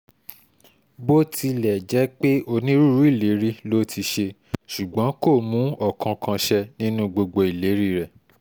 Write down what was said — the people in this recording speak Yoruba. bó tilẹ̀ jẹ́ pé onírúurú ìlérí ló ti ṣe ṣùgbọ́n kò mú ọ̀kánkán ṣẹ nínú gbogbo ìlérí rẹ̀